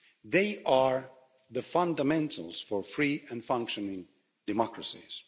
they are the fundamentals for free and functioning democracies.